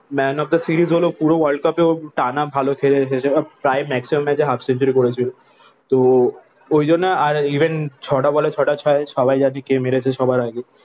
man of the series হলো পুরো world কাপে ও টানা ভালো খেলে এসেছে প্রায় maximum match এ half century করেছিল। তো ওই জন্য আর ইভেন ছটা বলে ছটা ছয়, সবাই জানে কে মেরেছে সবার আগে?